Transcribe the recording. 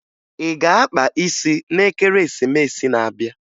Ị ga-akpa isi n'Ekeresimesi na-abịa.